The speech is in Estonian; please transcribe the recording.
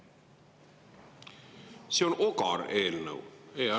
See on ogar eelnõu.